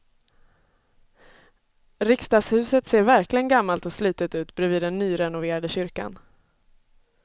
Riksdagshuset ser verkligen gammalt och slitet ut bredvid den nyrenoverade kyrkan.